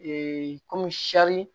kɔmi